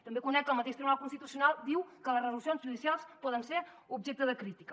també conec que el mateix tribunal constitucional diu que les resolucions judicials poden ser objecte de crítica